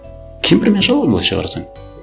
кемпір мен шал ғой былайша қарасаң